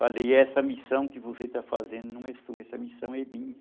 Falei, essa missão que você está fazendo não é sua, essa missão é minha.